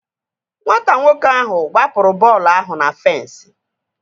Nwata nwoke ahụ gbapụrụ bọọlụ ahụ na fensi